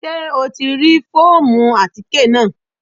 Ṣé o ti rí fóòmù àtíkè náà?